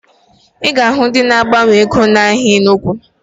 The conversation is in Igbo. Ị ga-ahụ ndị na-agbanwe ego n'ahịa Enugu